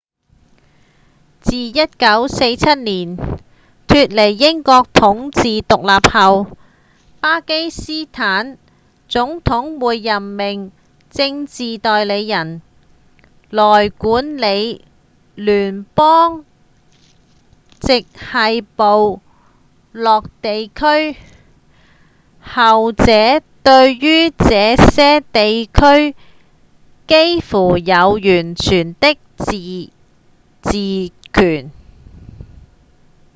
自1947年脫離英國統治獨立後巴基斯坦總統會任命「政治代理人」來管理聯邦直轄部落地區後者對於這些地區幾乎有完全的自治權